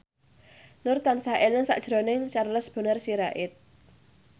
Nur tansah eling sakjroning Charles Bonar Sirait